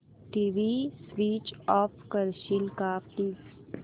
TV switch off करशील का please